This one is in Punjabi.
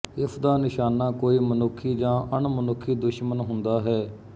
ਇਸ ਦਾ ਨਿਸ਼ਾਨਾ ਕੋਈ ਮਨੁੱਖੀ ਜਾਂ ਅਣਮਨੁੱਖੀ ਦੁਸ਼ਮਣ ਹੁੰਦਾ ਹੈ